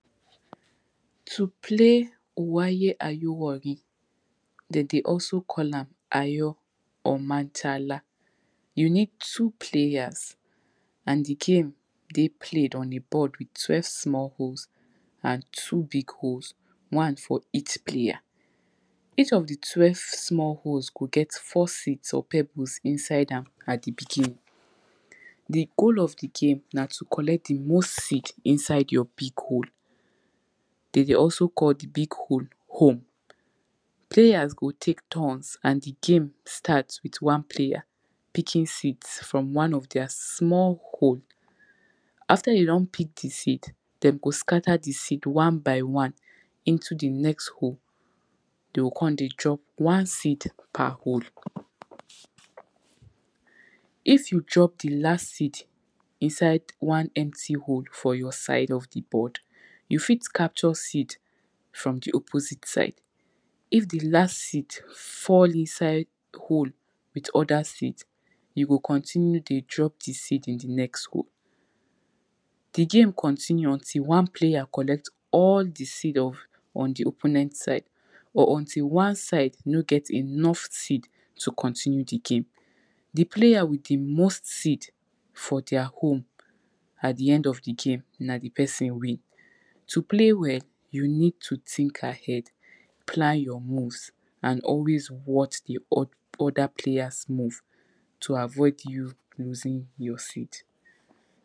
To pay oware ayo uwangi, de dey also call am ayo or mancala, you need two players and di game dey played on di board with twelve small holes and two big holes, one for each players, each of di twelve small holes go get four seeds or pebbles inside am at di beginning. Di goal of di game na to collect di most seed inside your big hole, de dey also call di big hole home, players go tek turns and di game start with one player picking seeds from one of deir small holes. After you don pick di seed, dem go scatter di seed one by one into di next hole, de o con dey drop one seed per hole. If you drop di last seed inside one empty hole for your side of di board, you fit capture seed from di opposite side, if di last seed fall inside hole with other seed, you go con continue dey drop di seed in di next hole. Di game continue until one player collect all di seed on di opponent side or until one side no get enough seed to continur di game. Di player with di most seed for deir home at di end of di game na di person win. To play well you need to think ahead, plan your move and always watch di op, other players move to avoid you loosing your seed.